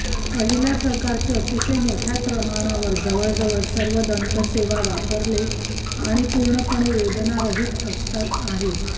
पहिल्या प्रकारची अतिशय मोठ्या प्रमाणावर जवळजवळ सर्व दंत सेवा वापरले आणि पूर्णपणे वेदनारहित असतात आहे